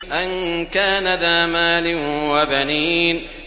أَن كَانَ ذَا مَالٍ وَبَنِينَ